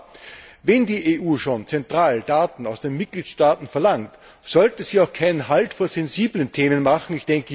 Aber wenn die EU schon zentral Daten aus den Mitgliedstaaten verlangt, sollte sie auch nicht vor sensiblen Themen Halt machen.